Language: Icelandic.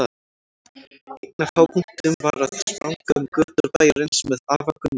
Einn af hápunktunum var að spranga um götur bæjarins með afa Gunnari.